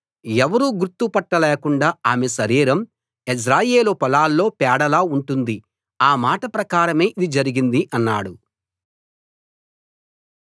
ఎవరూ గుర్తు పట్టలేకుండా ఆమె శరీరం యెజ్రెయేలు పొలాల్లో పేడలా ఉంటుంది ఆ మాట ప్రకారం ఇది జరిగింది అన్నాడు